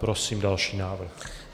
Prosím další návrh.